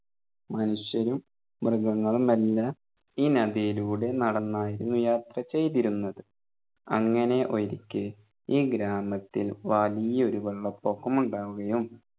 മനുഷ്യരും മൃഗങ്ങളുമെല്ലാം ഈ നദിയിലൂടെ നടന്നായിരുന്നു യാത്ര ചെയ്തിരുന്നത് അങ്ങനെ ഒരിക്കെ ഈ ഗ്രാമത്തിൽ വലിയ ഒരു വെള്ളപൊക്കമുണ്ടാവുകയും